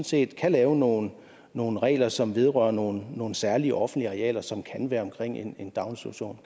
set kan lave nogle nogle regler som vedrører nogle nogle særlige offentlige arealer som kan være omkring en daginstitution